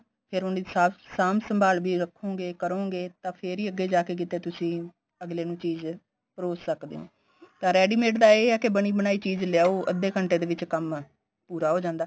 ਫੇਰ ਉਹਦੀ ਸਾਂਭ ਸਭਾਲ ਵੀ ਰਖੋਗੇ ਕਰੋਂਗੇ ਤਾਂ ਫੇਰ ਈ ਅੱਗੇ ਜਾ ਕੇ ਕੀਤੇ ਤੁਸੀਂ ਅਗਲੇ ਨੂੰ ਚੀਜ਼ ਪਰੋਸ ਸਕਦੇ ਓ ਤਾਂ ready made ਦਾ ਇਹ ਏ ਕੇ ਬਣੀ ਬਣਾਈ ਚੀਜ਼ ਲਿਆਉ ਅੱਧੇ ਘੰਟੇ ਦੇ ਵਿੱਚ ਕੰਮ ਪੂਰਾ ਹੋ ਜਾਂਦਾ